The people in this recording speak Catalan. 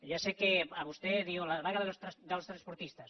ja sé que vostè diu la vaga dels transportistes